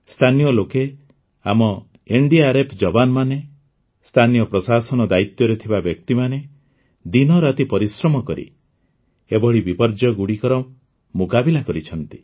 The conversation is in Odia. ସ୍ଥାନୀୟ ଲୋକେ ଆମ ଏନ୍ଡିଆର୍ଏଫ୍ର ଯବାନ୍ମାନେ ସ୍ଥାନୀୟ ପ୍ରଶାସନ ଦାୟିତ୍ୱରେ ଥିବା ବ୍ୟକ୍ତିମାନେ ଦିନ ରାତି ପରିଶ୍ରମ କରି ଏଭଳି ବିପର୍ଯ୍ୟୟଗୁଡ଼ିକର ମୁକାବିଲା କରିଛନ୍ତି